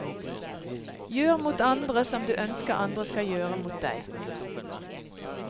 Gjør mot andre, som du ønsker andre skal gjøre mot deg.